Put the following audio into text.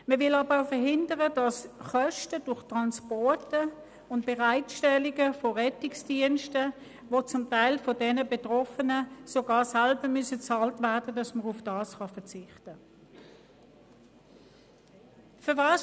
Man will aber auch verhindern, dass auf Kosten wegen Transporten und wegen der Bereitstellung von Rettungsdiensten, die von den Betroffenen zum Teil sogar selber bezahlt werden müssen, verzichtet werden kann.